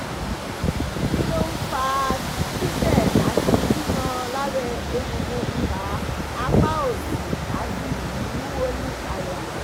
kí ló ń fa tite ati kikan labe egungun iha apa òsì òsì ati iwuwo ní àyà?